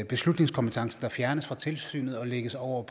beslutningskompetencen der fjernes fra tilsynet og lægges over